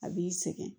A b'i sɛgɛn